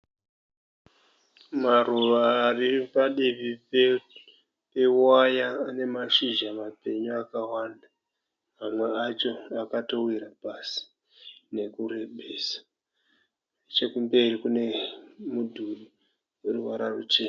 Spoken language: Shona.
Maruva ari padivi pewaya ane mashizha mapenyu akawanda. Mamwe acho akatowira pasi nekurebesa, nechekumberi kune mudhuri une ruvara ruchena.